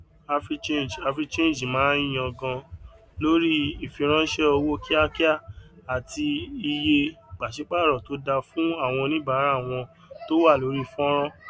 africhange africhange máa yangàn lórí ìfiránṣẹ owó kíákíá àti iye pàṣípàrọ tó da fún àwọn oníbàárà wọn tó wà lórí fọnrán